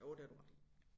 Jo det har du ret i